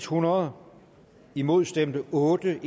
hundrede imod stemte otte